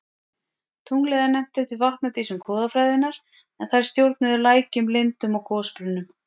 Tunglið er nefnt eftir vatnadísum goðafræðinnar en þær stjórnuðu lækjum, lindum og gosbrunnum.